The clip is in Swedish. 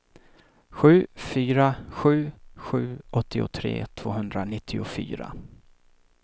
sju fyra sju sju åttiotre tvåhundranittiofyra